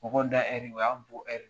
Mɔgɔw da o ye an da ye